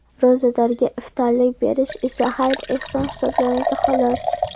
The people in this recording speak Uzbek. Ro‘zadorga iftorlik berish esa xayr-ehson hisoblanadi, xolos.